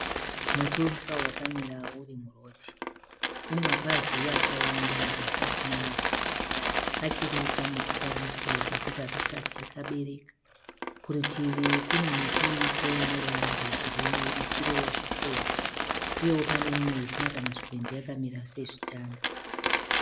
Muti wemusawo wakamira urimurodhi. Une mapazi akawanda asi isina mashizha. Kachiri kamuti kadiki zvekuti hakasati kambereka. Kurutivi kune miti iriko ineruvara rwegirinhi ichiriwo zvikwenzi. Uyewo pane imwe isina kana zvikwenzi yakamira sezvitanda.